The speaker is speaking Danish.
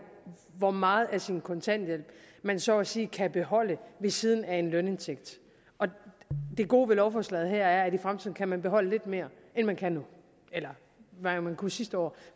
hvor meget af sin kontanthjælp man så at sige kan beholde ved siden af en lønindtægt det gode ved lovforslaget her er at i fremtiden kan man beholde lidt mere end man kan nu eller hvad man kunne sidste år